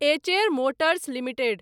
Eicher Motors limited